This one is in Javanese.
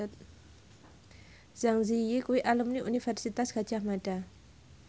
Zang Zi Yi kuwi alumni Universitas Gadjah Mada